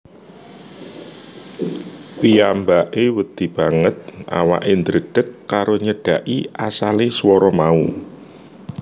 Piyambake wedi banget awake ndredeg karo nyedhaki asale swara mau